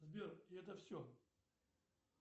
сбер это все